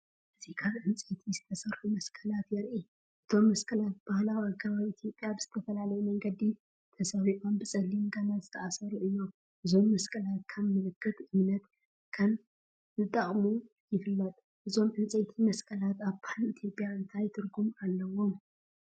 እዚ ካብ ዕንጨይቲ ዝተሰርሑ መስቀላት የርኢ። እቶም መስቀላት ብባህላዊ ኣገባብ ኢትዮጵያ ብዝተፈላለየ መንገዲ ተሰሪዖም ብጸሊም ገመድ ዝተኣስሩ እዮም። እዞም መስቀላት ከም ምልክት እምነት ከም ዝጥቀሙ ይፍለጥ። እዞም ዕንጨይቲ መስቀላት ኣብ ባህሊ ኢትዮጵያ እንታይ ትርጉም ኣለዎም?